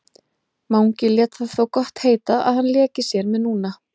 Mangi lét það þó gott heita að hann léki sér með núna.